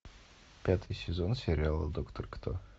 пятый сезон сериала доктор кто